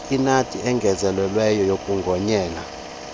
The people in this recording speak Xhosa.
inaliti eyongezelelweyo yokugonyela